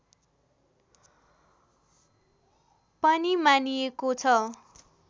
पनि मानिएको छ